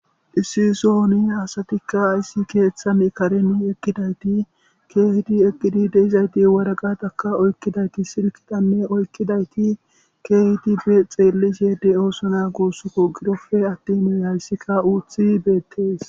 Issi sooni hasatikka ayssi keeththan kareni eqqidayti keehidi eqqidi deizayti waragataka oykkidayti silkitanne oykkidayti keehiti be xeellis yede oosona guussuku girofe attimu hayssikka uuthi beettees